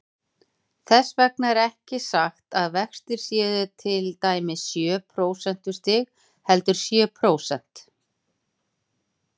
Þess vegna er ekki sagt að vextir séu til dæmis sjö prósentustig, heldur sjö prósent.